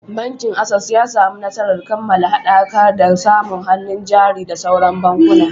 Bankin Access ya samu nasarar kammala haɗakar da samu hannun jari da sauran bankuna.